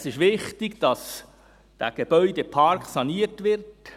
Es ist wichtig, dass der Gebäudepark saniert wird.